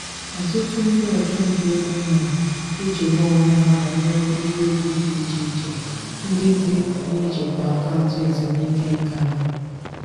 ọtụtụ ndị ọchụnta ego na-echegbu onwe ha banyere ihe egwu dị iche iche ndị dị n'ịjikwa akaụntụ ezumike nká ha.